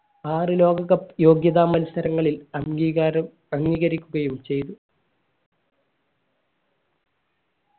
ആറു ലോക cup യോഗ്യത മത്സരങ്ങളിൽ അംഗീകാരം അംഗീകരിക്കുകയും ചെയ്തു